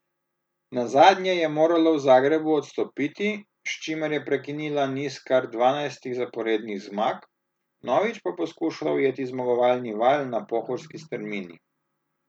Nazadnje je morala v Zagrebu odstopiti, s čimer je prekinila niz kar dvanajstih zaporednih zmag, vnovič pa bo skušala ujeti zmagovalni val na pohorski strmini.